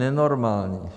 Nenormální.